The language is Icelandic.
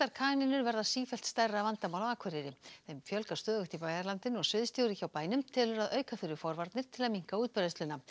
kanínur verða sífellt stærra vandamál á Akureyri þeim fjölgar stöðugt í bæjarlandinu og sviðsstjóri hjá bænum telur að auka þurfi forvarnir til að minnka útbreiðsluna